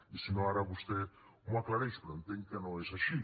i si no ara vostè m’ho aclareix però entenc que no és així